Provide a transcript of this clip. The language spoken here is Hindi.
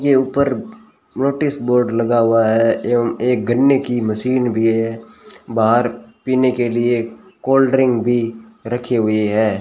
यह ऊपर नोटिस बोर्ड लगा हुआ है एवं एक गन्ने की मशीन भी है बाहर पीने के लिए कोल्ड ड्रिंक भी रखे हुए हैं।